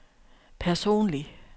personlig